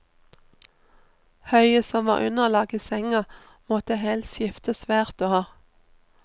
Høyet som var underlag i senga, måtte helst skiftes hvert år.